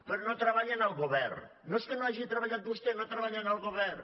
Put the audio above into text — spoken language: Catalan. però no treballen el govern no és que no hagi treballat vostè no treballen el govern